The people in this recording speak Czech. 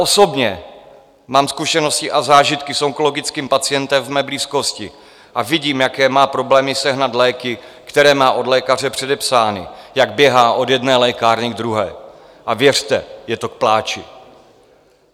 Osobně mám zkušenosti a zážitky s onkologickým pacientem v mé blízkosti a vidím, jaké má problémy sehnat léky, které má od lékaře předepsány, jak běhá od jedné lékárny k druhé, a věřte, je to k pláči.